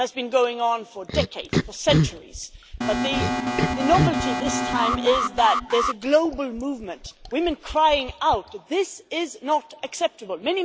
It has been going on for decades, for centuries, but the novelty this time is that there is a global movement of women crying out this is not acceptable'.